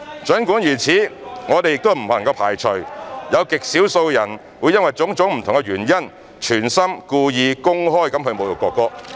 儘管如此，我們仍不能排除有極少數人會因為種種不同的原因，存心、故意、公開侮辱國歌。